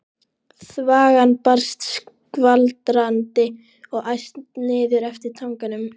Þvagan barst skvaldrandi og æst niður eftir tanganum.